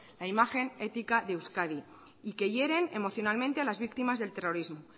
la imagen ética de euskadi y que hieren emocionalmente a las víctimas del terrorismo